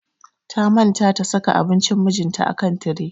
Ta manta ta saka abunci mijinta a kan tire.